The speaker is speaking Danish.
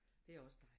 Det er også dejligt